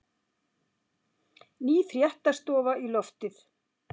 Ný fréttastofa í loftið